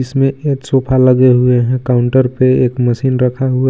इसमें एक सोफा लगे हुए हे काउंटर पे एक मशीन रखा हुआ हे.